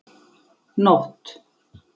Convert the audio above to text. Nótt